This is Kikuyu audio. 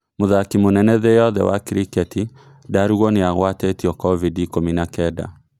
Mũthaki mũnene thĩ yothe wa kiriketi, Ndarugo nĩagwatetio covid ikũmi na Kenda